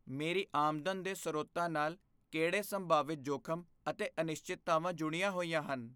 ਮੇਰੀ ਆਮਦਨ ਦੇ ਸਰੋਤਾਂ ਨਾਲ ਕਿਹੜੇ ਸੰਭਾਵਿਤ ਜੋਖਮ ਅਤੇ ਅਨਿਸ਼ਚਿਤਤਾਵਾਂ ਜੁੜੀਆਂ ਹੋਈਆਂ ਹਨ?